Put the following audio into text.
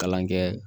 Kalan kɛ